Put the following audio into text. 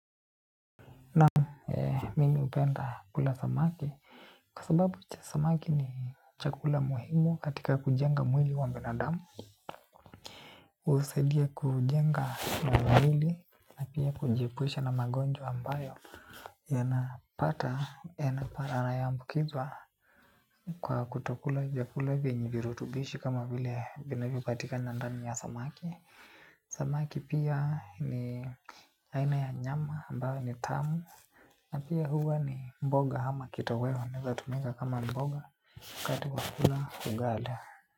Naam, mimi hupenda kula samaki kwa sababu samaki ni chakula muhimu katika kujenga mwili wa binadamu. Usaidia kujenga mwili na pia kujiepusha na magonjwa ambayo yanapata yanaparana ya mbukizwa kwa kutokula vyakula vyenye virutubishi kama vile vinavyopatikana ndani ya samaki. Samaki pia ni aina ya nyama ambayo ni tamu. Na pia huwa ni mboga hama kitoweo. Neza tumika kama mboga wakati wakula ugada.